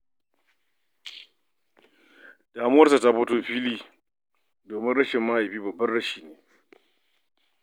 Damuwarsa ta fito fili, domin rashin mahaifi babban rashi ne.